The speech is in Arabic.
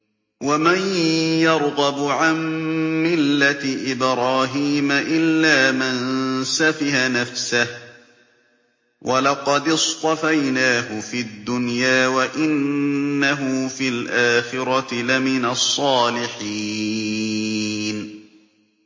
وَمَن يَرْغَبُ عَن مِّلَّةِ إِبْرَاهِيمَ إِلَّا مَن سَفِهَ نَفْسَهُ ۚ وَلَقَدِ اصْطَفَيْنَاهُ فِي الدُّنْيَا ۖ وَإِنَّهُ فِي الْآخِرَةِ لَمِنَ الصَّالِحِينَ